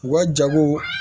U ka jago